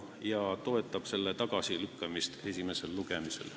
Me toetame selle tagasilükkamist esimesel lugemisel.